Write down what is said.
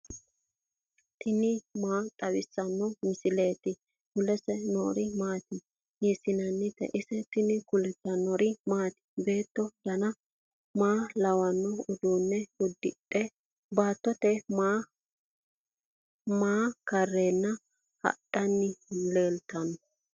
tini maa xawissanno misileeti ? mulese noori maati ? hiissinannite ise ? tini kultannori mattiya? beetto danna maa lawanno uduunne udidhe baattote aanna maa kareenna hadhanni leelittanno?